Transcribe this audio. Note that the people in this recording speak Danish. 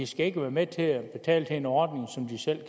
skal være med til at betale til en ordning som de selv